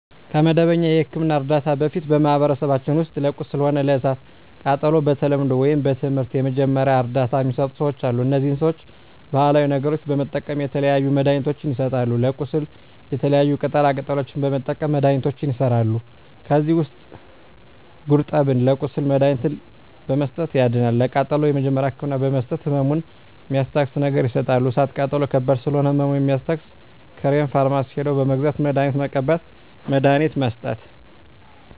ከመደበኛ የሕክምና ዕርዳታ በፊት በማኀበረሰባችን ውስጥ ለቁስል ሆነ ለእሳት ቃጠሎው በተለምዶው ወይም በትምህርት የመጀመሪያ እርዳታ ሚሰጡ ሰዎች አሉ እነዚህ ሰዎች ባሀላዊ ነገሮች በመጠቀም የተለያዩ መድሀኒትችን ይሰጣሉ ለቁስል የተለያዩ ቅጠላ ቅጠሎችን በመጠቀም መድሀኒቶች ይሠራሉ ከዚህ ውስጥ ጉርጠብን ለቁስል መድሀኒትነት በመስጠት ያድናል ለቃጠሎ የመጀመሪያ ህክምና በመስጠት ህመሙን ሚስታግስ ነገር ይሰጣሉ እሳት ቃጠሎ ከባድ ስለሆነ ህመሙ የሚያስታግስ ክሬም ፈርማሲ ሄደው በመግዛት መድሀኒት መቀባት መድሀኒት መስጠት